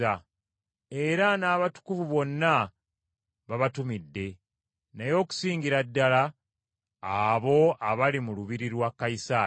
Era n’abatukuvu bonna babatumidde, naye okusingira ddala abo abali mu lubiri lwa Kayisaali.